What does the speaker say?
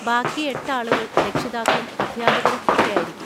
ബാക്കി എട്ട് ആളുകൾ രക്ഷിതാക്കളും അധ്യാപകരും ഒക്കെ ആയിരിക്കും.